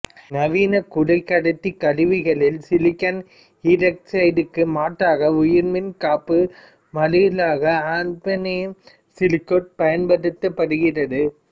நவீன குறைக்கடத்தி கருவிகளில் சிலிக்கன் ஈராக்சைடிற்கு மாற்றாக உயர் மின்காப்பு மாறிலியாகப் ஆஃபினியம் சிலிக்கேட் பயன்படுத்தப்படுகிறது